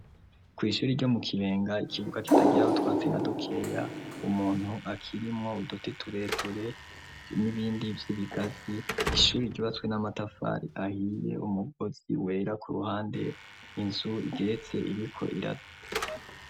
Kw'ishuri ryo mu kibenga ikibuga kitagiraho twatse na dukeya umuntu akirimwo budoti tureture n'ibindi vy'ibigazi ishuri gibatswe n'amatafari ahiye umugozi wera ku ruhande inzu igeretse igiko irada.